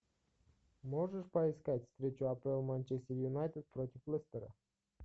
можешь поискать встречу апл манчестер юнайтед против лестера